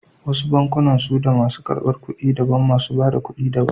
Wasu bankunan suda masu ƙarbar ƙuɗi daban, masu ba da ƙuɗi da ban.